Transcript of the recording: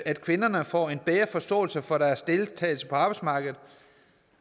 at kvinderne får en bedre forståelse for deres deltagelse på arbejdsmarkedet